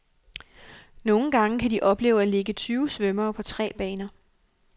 Nogle gange kan de opleve at ligge tyve svømmere på tre baner.